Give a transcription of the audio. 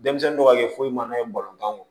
Denmisɛnnin dɔw ka kɛ foyi ma ye